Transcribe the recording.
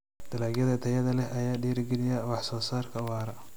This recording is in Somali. Dalagyada tayada leh ayaa dhiirigeliya wax soo saarka waara.